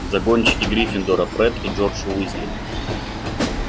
загонщики гриффиндора фред и джордж уизли